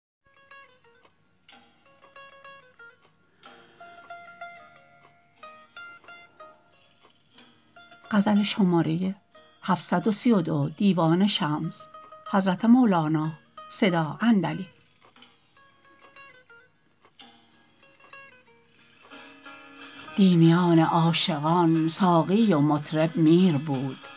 دی میان عاشقان ساقی و مطرب میر بود در هم افتادیم زیرا زور گیراگیر بود عقل باتدبیر آمد در میان جوش ما در چنان آتش چه جای عقل یا تدبیر بود در شکار بی دلان صد دیده جان دام بود وز کمان عشق پران صد هزاران تیر بود آهوی می تاخت آن جا بر مثال اژدها بر شمار خاک شیران پیش او نخجیر بود دیدم آن جا پیرمردی طرفه ای روحانیی چشم او چون طشت خون و موی او چون شیر بود دیدم آن آهو به ناگه جانب آن پیر تاخت چرخ ها از هم جدا شد گوییا تزویر بود کاسه خورشید و مه از عربده درهم شکست چونک ساغرهای مستان نیک باتوفیر بود روح قدسی را بپرسیدم از آن احوال گفت بیخودم من می ندانم فتنه آن پیر بود شمس تبریزی تو دانی حالت مستان خویش بی دل و دستم خداوندا اگر تقصیر بود